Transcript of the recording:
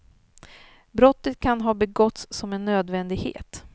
Brottet kan ha begåtts som en nödvändighet.